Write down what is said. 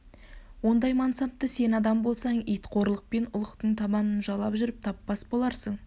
ондай мансапты сен адам болсаң ит қорлықпен ұлықтың табанын жалап жүріп таппас боларсың